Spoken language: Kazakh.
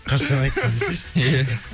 қашан айттым десейші ия ия